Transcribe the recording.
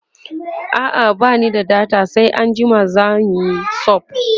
a'a bani da data sai anjima zanyi sub